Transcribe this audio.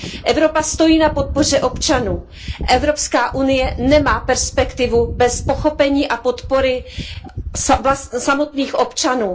Evropa stojí na podpoře občanů, Evropská unie nemá perspektivu bez pochopení a podpory samotných občanů.